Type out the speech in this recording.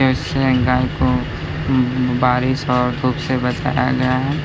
कैसे गाय को बारिश और धुप से बचाया गया है।